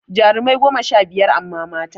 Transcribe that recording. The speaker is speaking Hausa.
Jarumai goma sha biyar amma mata